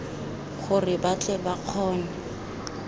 gore ba tle ba kgone